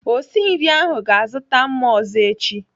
Osi nri ahụ ga-azụta mma ọzọ echi.